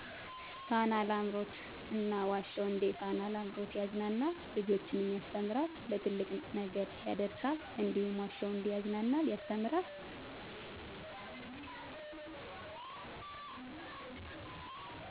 ፋና ላምሮት እና ዋሸሁ እንዴ ፋና ላምሮት ያዝናናል ልጆችንም ያስተምራል ለትልቅ ነገር ያዳርሳል እንዲሁም ዋሸሁ እዴ ያዝናናል ያስተምራል።